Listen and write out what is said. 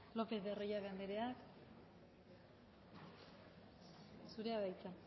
lópez de arroyabe anderea zurea da hitza